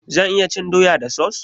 Zan iya cin doya da sos?